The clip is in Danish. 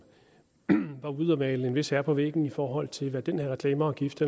var ude at male en vis herre på væggen i forhold til hvad den her reklameafgift